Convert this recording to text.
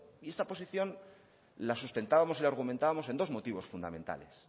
y esta posición las sustentábamos y argumentábamos en dos motivos fundamentales